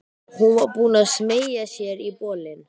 Hún var búin að smeygja sér í bolinn.